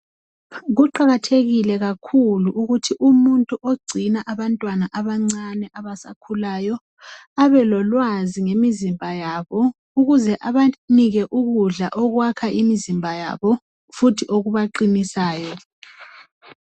Kuqakathekile kakhulu ukuthi umuntu ogcina abantwana abancane abasakhulayo abelolwazi ngemizimba yabo ukuze abanike ukudla okwakha imizimba yabo futhi okubaqinisayo